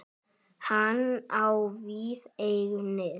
Hann á víða eignir.